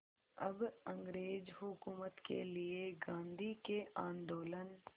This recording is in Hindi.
अब अंग्रेज़ हुकूमत के लिए गांधी के आंदोलन